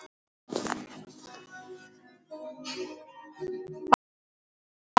Hvað þá., nei.